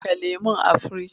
Saka lemon a firinji!